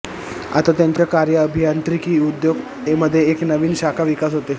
आता त्याच्या कार्य अभियांत्रिकी उद्योग मध्ये एक नवीन शाखा विकास होते